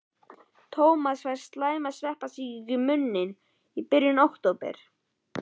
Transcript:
Tómas fær slæma sveppasýkingu í munninn í byrjun október.